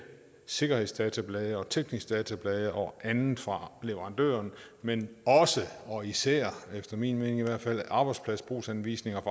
sikkerhedsdatablade og tekniske datablade og andet fra leverandøren men også og især i min mening arbejdspladsbrugsanvisninger